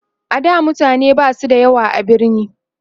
a da mutane Basu da yawa a birni